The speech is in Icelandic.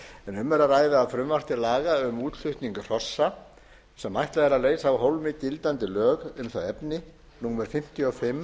er að ræða frumvarp til laga um útflutning hrossa sem ætlað er að leysa af hólmi gildandi lög um það efni númer fimmtíu og fimm